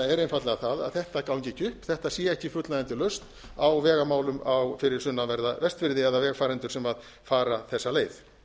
er einfaldlega það að þetta gangi ekki upp þetta sé ekki fullnægjandi lausn á vegamálum fyrir sunnanverða vestfirði eða vegfarendur sem fara þessa leið